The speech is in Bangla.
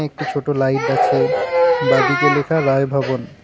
একটি ছোট লাইট আছে বাঁদিকে লেখা রায় ভবন।